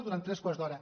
durant tres quarts d’hora